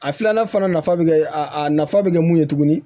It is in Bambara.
A filanan fana nafa bɛ kɛ a nafa bɛ kɛ mun ye tuguni